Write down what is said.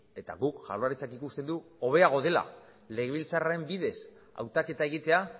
eta guk jaurlaritzak ikusten du hobeago dela legebiltzarraren bidez hautaketa egitea